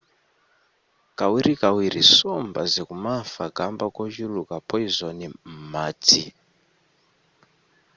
kawirikawiri nsomba zikumafa kamba kochuluka poizoni m'madzi